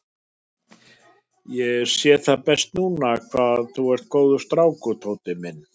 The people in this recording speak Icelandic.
Ég sé það best núna hvað þú ert góður strákur, Tóti minn.